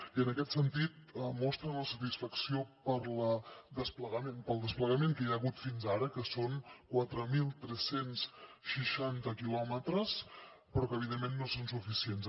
i en aquest sentit mostren la satisfacció pel desplegament que hi ha hagut fins ara que són quatre mil tres cents i seixanta quilòmetres però evidentment no són suficients